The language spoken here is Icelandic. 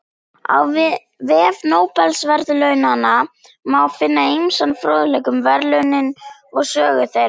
Á vef Nóbelsverðlaunanna má finna ýmsan fróðleik um verðlaunin og sögu þeirra.